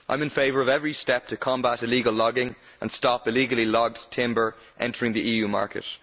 I am in favour of every step to combat illegal logging and stop illegally logged timber entering the EU market.